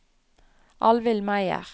Alvhild Meyer